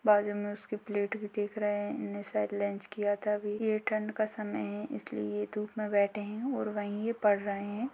बाजू में उसके प्लेट भी दिख रहे हैं। शायद लंच किया था अभी। ये ठण्ड का समय है। इसलिए ये धूप में बैठे हैं और वहीं पढ़ रहे हैं।